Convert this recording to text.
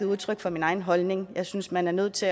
udtryk for min egen holdning og jeg synes man er nødt til